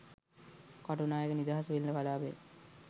කටුනායක නිදහස් වෙළෙඳ කළාපය